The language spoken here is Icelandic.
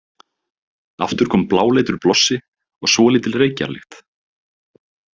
Aftur kom bláleitur blossi og svolítil reykjarlykt.